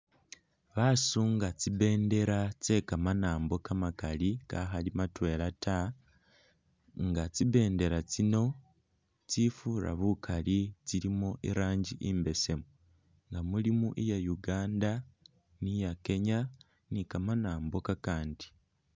Basunga tsi bendela tse kamanambo kamaakali kakhali matwela taa nga tsi bendela tsino tsifura bukali tsilimo iranji imbesemu nga mulimo iya Uganda, no iya kenya ne kamanambo akandi .